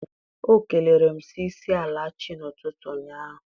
O kelere m sị ịsaala chi n'ụtụtụ ụnyaahụ.